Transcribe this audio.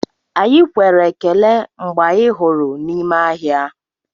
Anyị kwere ekele mgbe anyị hụrụ n'ime ahịa.